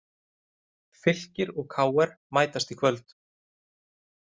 Fylkir og KR mætast í kvöld